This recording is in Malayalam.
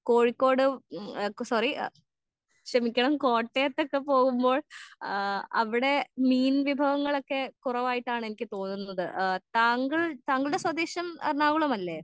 കോഴിക്കോട് ഉം ആ സോറി ആ ക്ഷമിക്കണം കോട്ടയത്തോക്കെ പോവുമ്പോൾ ആ അവിടെ മീൻ വിഭവങ്ങളൊക്കെ കുറവായിട്ടാണ് എനിക്ക് തോന്നുന്നത് ആ താങ്കൾ താങ്കളുടെ സ്വദേശം എറണാകുളം അല്ലെ?